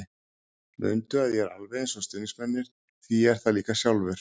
Mundu að ég er alveg eins og stuðningsmennirnir því ég er það líka sjálfur.